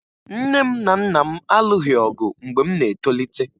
Nne m na Nna m alụghị ọgụ mgbe m na-etolite